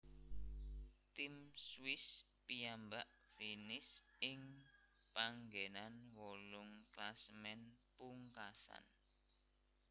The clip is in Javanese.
Tim Swiss piyambak finish ing panggenan wolung klasemen pungkasan